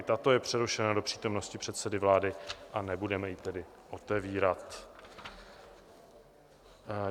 I tato je přerušena do přítomnosti předsedy vlády, a nebudeme ji tedy otevírat.